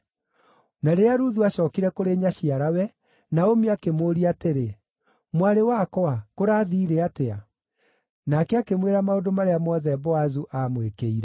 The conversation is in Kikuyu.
Na rĩrĩa Ruthu aacookire kũrĩ nyaciarawe-rĩ, Naomi akĩmũũria atĩrĩ, “Mwarĩ wakwa, kũraathiire atĩa?” Nake akĩmwĩra maũndũ marĩa mothe Boazu aamwĩkĩire.